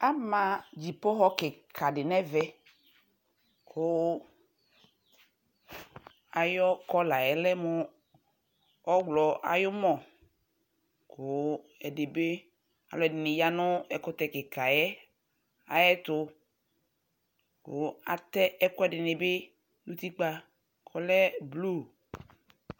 ama dzipo wɔ kika di nɛ ɛvɛ ku ayu kɔlayɛ lɛ mu ɔwlɔ ayu mɔ ku ɛdibi alu ɛdini ya nu ɛkutɛ kika yɛ ayɛ tu ku atɛ ɛkoe dinibi nu uti kpa kɔlɛ blu